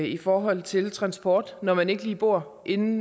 i forhold til transport når man ikke lige bor inde